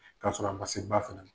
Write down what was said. Ka sɔrɔ a ma se ba fana na.